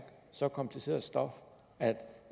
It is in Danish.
så kompliceret stof at